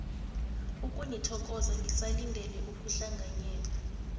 ukunithokoza ngisalindele ukuhlanganyela